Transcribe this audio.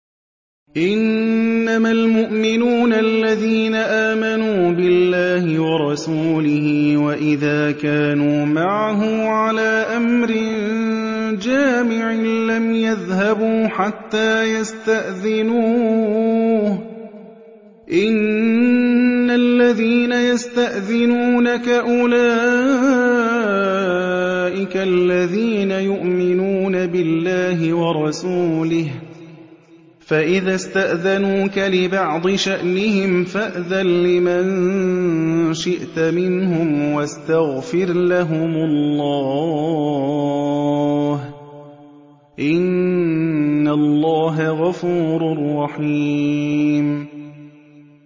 إِنَّمَا الْمُؤْمِنُونَ الَّذِينَ آمَنُوا بِاللَّهِ وَرَسُولِهِ وَإِذَا كَانُوا مَعَهُ عَلَىٰ أَمْرٍ جَامِعٍ لَّمْ يَذْهَبُوا حَتَّىٰ يَسْتَأْذِنُوهُ ۚ إِنَّ الَّذِينَ يَسْتَأْذِنُونَكَ أُولَٰئِكَ الَّذِينَ يُؤْمِنُونَ بِاللَّهِ وَرَسُولِهِ ۚ فَإِذَا اسْتَأْذَنُوكَ لِبَعْضِ شَأْنِهِمْ فَأْذَن لِّمَن شِئْتَ مِنْهُمْ وَاسْتَغْفِرْ لَهُمُ اللَّهَ ۚ إِنَّ اللَّهَ غَفُورٌ رَّحِيمٌ